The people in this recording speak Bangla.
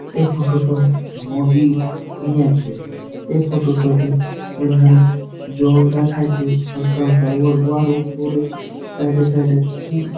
এই ফুটতো নদীর নিয়েছে | এই ফুটুটোতে এধারে জল দেখা যাচ্ছে হালকা গালোর গুহলো পরে সাইড -এ সাইড -এ খুব--